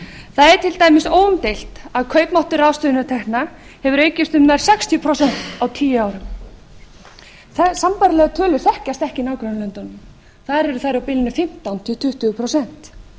er til dæmis óumdeilt að kaupmáttur ráðstöfunartekna hefur aukist um nær sextíu prósent á tíu árum sambærilegar tölur þekkjast ekki í nágrannalöndunum þar eru þær á bilinu fimmtán til tuttugu prósent